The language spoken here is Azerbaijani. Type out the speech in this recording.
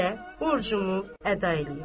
Mən yenə də borcumu əda eləyim.